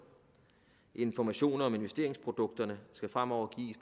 informationer om investeringsprodukterne skal fremover